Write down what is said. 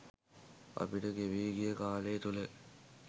අපිට ගෙවී ගිය කාලය තුළ